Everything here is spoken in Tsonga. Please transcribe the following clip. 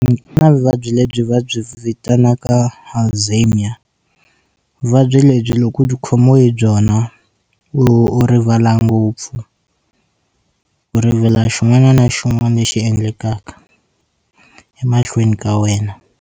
Ku na vuvabyi lebyi vabyi vitanaka Alzheimer vuvabyi lebyi loko byi khomiwe hi byona u u rivala ngopfu u rivala xin'wana na xin'wana lexi endlekaka emahlweni ka wena.